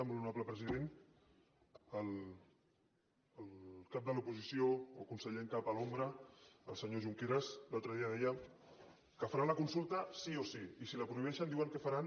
molt honorable president el cap de l’oposició o conseller en cap a l’ombra el senyor junqueras l’altre dia que faran la consulta sí o sí i si la prohibeixen diuen que faran